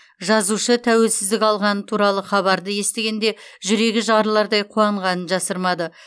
жазушы тәуелсіздік алғаны туралы хабарды естігенде жүрегі жарылардай қуанғанын жасырмады